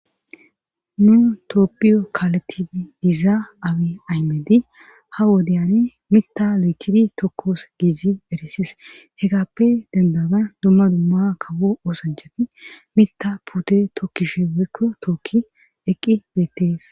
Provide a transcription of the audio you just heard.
Nu toopphiyo kaaleti diza aabi aymedi ha wodeyani mitha lootidi tokkoos giizi erisis hekappe dendaban dumma dumma kabo oosajjati mita pute tookkishe wekko tookki eqqi beettees.